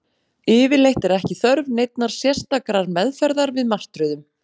Yfirleitt er ekki þörf neinnar sérstakrar meðferðar við martröðum.